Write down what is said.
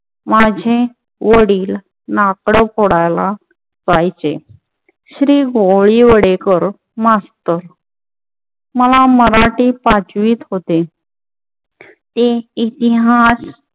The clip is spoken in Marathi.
माझे वडील लाकडं फोडायला जायचे. श्री गोडीवडेकर मास्टर मला मराठी पाचवीत होते. ते इतिहास